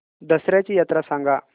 दसर्याची यात्रा सांगा